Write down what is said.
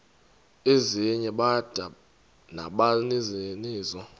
ezinye bada nabaninizo